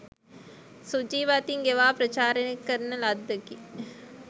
සුජීව අතින් ගෙවා ප්‍රචාරණය කරන ලද්දකි